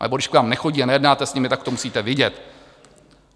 Anebo když k vám nechodí a nejednáte s nimi, tak to musíte vidět.